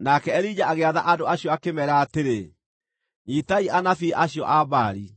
Nake Elija agĩatha andũ acio akĩmeera atĩrĩ, “Nyiitai anabii acio a Baali.